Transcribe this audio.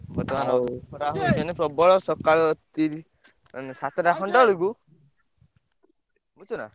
ହେଲା ଆଉ ପ୍ରବଳ ସକାଳୁ ତିରିଶି ମାନେ ସାତଟା ବେଳକୁ ବୁଝୁଛନା।